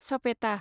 सपेता